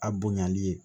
A bonyali ye